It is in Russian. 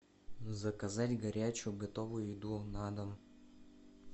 заказать горячую готовую еду на дом